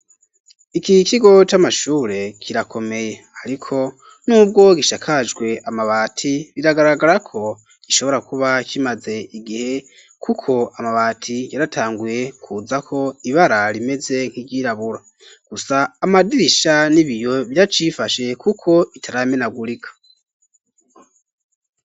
Iki kigo c'amashure kirakomeye ariko n'ubwo gishakajwe amabati biragaragarako gishobora kuba kimaze igihe, kuko amabati yaratanguye kuza ko ibara rimeze nk'iryirabura. Gusa amadirisha n'ibiyo biracifashe kuko bitaramenagurika.